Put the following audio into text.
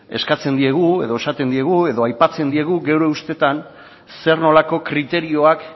eskatzen diegu edo esaten diegu edo aipatzen diegu gure ustez zer nolako kriterioak